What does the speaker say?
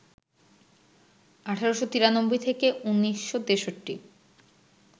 ১৮৯৩ - ১৯৬৩